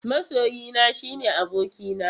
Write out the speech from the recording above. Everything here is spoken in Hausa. Masoyina shine abokina.